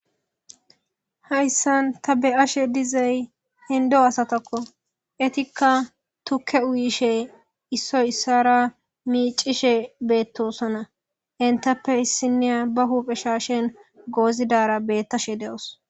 Hayssan ta be7ashe dizey hindo asatakko etikka tukke uyishe issoy issara miicishe beettosana intappe issiniya ba huuphe shaashen goozidara beettashe de7os.